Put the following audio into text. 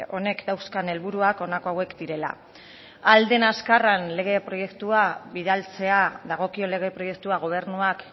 honek dauzkan helburuak honako hauek direla ahal den azkarren lege proiektua bidaltzea dagokion lege proiektua gobernuak